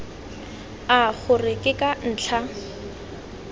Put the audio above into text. a gore ke ka ntlha